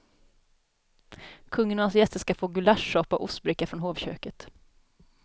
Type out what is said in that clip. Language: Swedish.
Kungen och hans gäster ska få gulaschsoppa och ostbricka från hovköket.